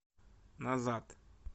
назад